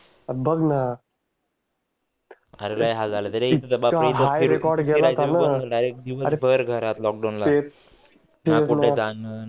बघ न अरे लय हाल झाले होते रे इतका हाय रेकॉर्ड गेला होता न तेच न कुठ जायचं